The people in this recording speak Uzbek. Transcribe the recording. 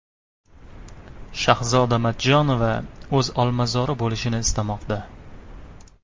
Shahzoda Matchonova o‘z olmazori bo‘lishini istamoqda.